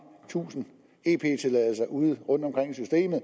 tusind ep tilladelser ude rundtomkring